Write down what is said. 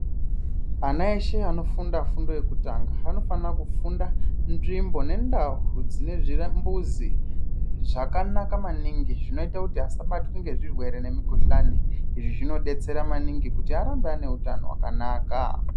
Ana eshe anofunda fundo yokutanga anofana kufunda nzvimbo nendau dzinezvira mbuzi zvakanaka maningi zvinoita kuti asabatwe nezvirwere nemukuhlani, izvi zvinobetsera maningi kuti arambe ane hutano hwakanaka.